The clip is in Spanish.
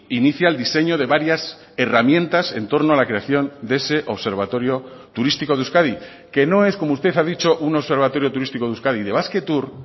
inicia el diseño de varias herramientas en torno a la creación de ese observatorio turístico de euskadi que no es como usted ha dicho un observatorio turístico de euskadi de basquetour